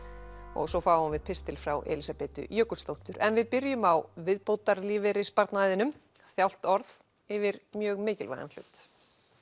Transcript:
og svo fáum við pistil frá Elísabetu Jökulsdóttur en við byrjum á viðbótarlífeyrissparnaðinum þjált orð yfir mjög mikilvægan hlut